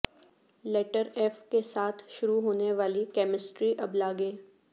letter F کے ساتھ شروع ہونے والی کیمسٹری ابلاغیں